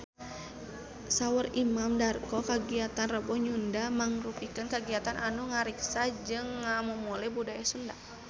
Saur Imam Darto kagiatan Rebo Nyunda mangrupikeun kagiatan anu ngariksa jeung ngamumule budaya Sunda